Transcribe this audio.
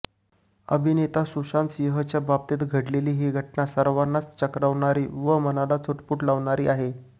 अभिनेता सुशांत सिंहच्या बाबतीत घडलेली ही घटना सर्वांनाच चक्रावणारी व मनाला चुटपूट लावणारी आहे